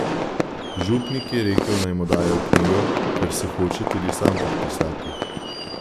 Župnik je rekel, naj mu dajo knjigo, ker se hoče tudi sam podpisati.